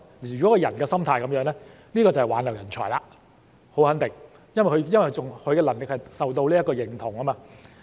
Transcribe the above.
如果他們的心態是這樣，這便是挽留人才，很肯定，因為他們的能力受到認同。